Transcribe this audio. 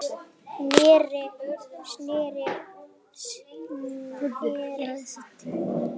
Ég sneri strax við.